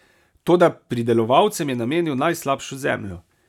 Toda pridelovalcem je namenil najslabšo zemljo.